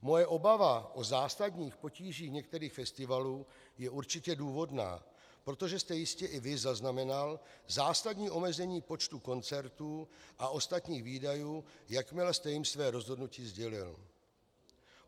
Moje obava o zásadních potížích některých festivalů je určitě důvodná, protože jste jistě i vy zaznamenal zásadní omezení počtu koncertů a ostatních výdajů, jakmile jste jim své rozhodnutí sdělil.